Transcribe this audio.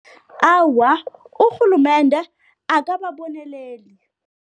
Awa, urhulumende akababoneleli.